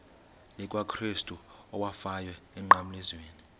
likakrestu owafayo emnqamlezweni